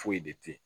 Foyi de te yen